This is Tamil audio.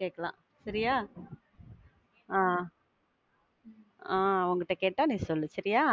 கேக்கலாம் சரியா? ஆஹ் ஆஹ் அவங்கக்கிட்ட கேட்டா நீ சொல்லு. சரியா?